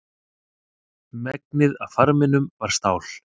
Megnið af farminum var stál.